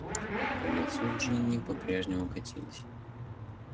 по лицу джинни по-прежнему катились